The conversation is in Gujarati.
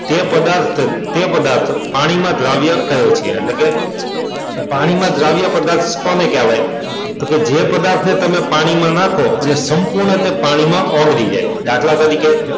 એ પદાર્થ તે પદાર્થ પાણીમાં દ્રાવ્ય કહે છે એટલે કે પાણીમાં દ્રાવ્ય પદાર્થ કોને કહેવાય તો કે જે પદાર્થની તમે પાણીમાં નાખો અને સંપૂર્ણ રીતે તે પાણીમાં ઓગળી જાય દાખલા તરીકે,